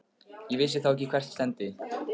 Ég vissi þá ekki hvert stefndi.